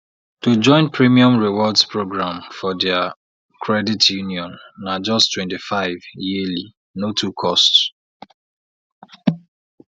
to join premium rewards program for their credit union na just 25 yearlyno too cost